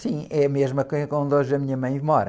Sim, é a mesma que a, que onde hoje a minha mãe mora.